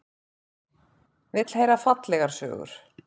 Vill heyra fallegar sögur.